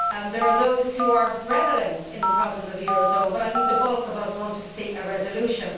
There are those who are revelling in the problems of the eurozone, but I think the bulk of us want to see a resolution.